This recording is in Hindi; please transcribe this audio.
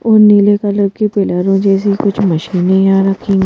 और नीले कलर की पिलरों जैसी कुछ मशीन यहाँ रखी है।